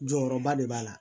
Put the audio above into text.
Jɔyɔrɔba de b'a la